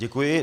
Děkuji.